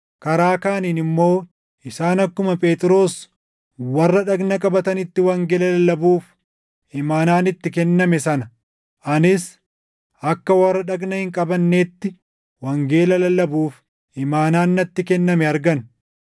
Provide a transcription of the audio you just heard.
Karaa kaaniin immoo isaan akkuma Phexros warra dhagna qabatanitti wangeela lallabuuf imaanaan itti kenname sana, anis akka warra dhagna hin qabannetti wangeela lallabuuf imaanaan natti kenname argan.